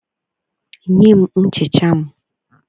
Nye m nchicha m